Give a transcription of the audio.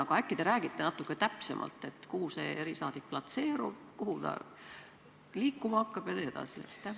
Aga äkki te räägite natuke täpsemalt, kuhu see erisaadik platseerub, kuhu ta liikuma hakkab jne?